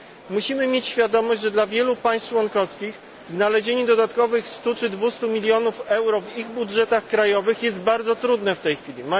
Musimy mieć świadomość, że dla wielu państw członkowskich znalezienie dodatkowych 100 czy 200 milionów euro w ich budżetach krajowych jest bardzo trudne w tej chwili.